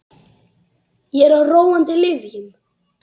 Ég er á róandi lyfjum.